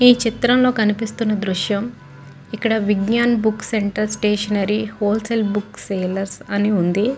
ఈ చిత్రం లో కనిపిస్తున్న దృశ్యం ఇక్కడ Vignana book centre stationery wholesale book sellers అని ఉంది.